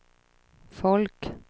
folk